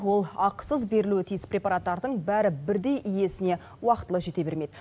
ол ақысыз берілуі тиіс препараттардың бәрі бірдей иесіне уақытылы жете бермейді